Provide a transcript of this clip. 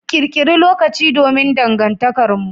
Ƙirƙiri lokaci domn dangantakarmu.